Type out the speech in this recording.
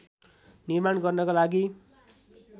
निर्माण गर्नका लागी